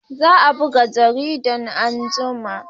Za a buga jarida anguma.